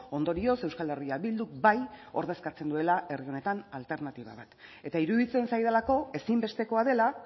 ondorioz euskal herria bilduk bai ordezkatzen duela herri honetan alternatiba bat eta iruditzen zaidalako ezinbestekoa dela